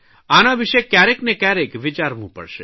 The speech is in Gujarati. આના વિષે કયારેક ને કયારેક વિચારવું પડશે